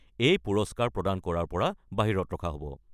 এই পুৰস্কাৰ প্ৰদান কৰাৰ পৰা বাহিৰত ৰখা হ'ব।